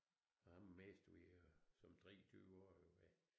Og ham mistede vi som 23 årig ved